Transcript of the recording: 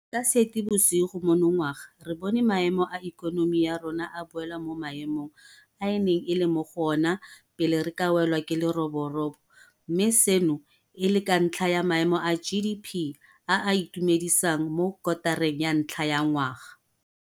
Ka Seetebosigo monongwaga re bone maemo a ikonomi ya rona a boela mo maemong a e neng e le mo go ona pele re ka welwa ke leroborobo mme seno e le ka ntlha ya maemo a GDP a a itumedisang mo kotareng ya ntlha ya ngwaga.